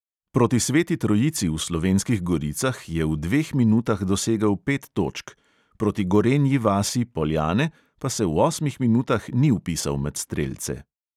Proti sveti trojici v slovenskih goricah je v dveh minutah dosegel pet točk, proti gorenji vasi – poljane pa se v osmih minutah ni vpisal med strelce.